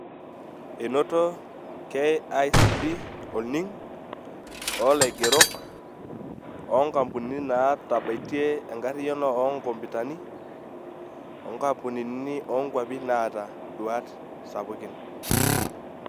Enoto KICD olning' olaigerok, onkampunini naatabatie enkariyano oonkompitani, onkapunini oonkwapi naata nduat sapukin.